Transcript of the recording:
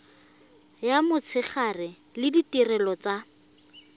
ya motshegare le ditirelo tsa